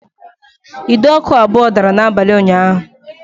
Ide ọkụ abụọ dara n'abalị ụnyaahụ